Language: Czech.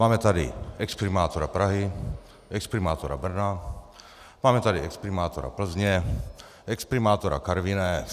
Máme tady exprimátora Prahy, exprimátora Brno, máme tady exprimátora Plzně, exprimátora Karviné.